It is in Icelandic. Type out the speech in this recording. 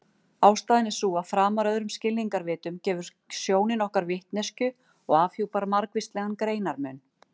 Ástæðan er sú að framar öðrum skilningarvitum gefur sjónin okkur vitneskju og afhjúpar margvíslegan greinarmun.